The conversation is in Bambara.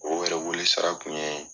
O yɛrɛ wele sara kun ye